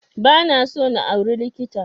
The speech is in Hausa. Ba na so na auri likita